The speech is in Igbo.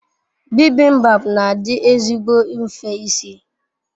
Bibimbap n'adi ezigbo nfe isi